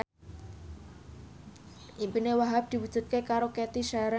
impine Wahhab diwujudke karo Cathy Sharon